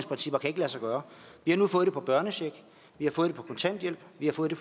lade sig gøre vi har nu fået det på børnecheck vi har fået det på kontanthjælp vi har fået det